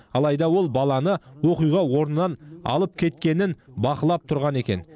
алайда ол баланы оқиға орнынан алып кеткенін бақылап тұрған екен